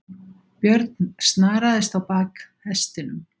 Björn snaraðist á bak hestinum.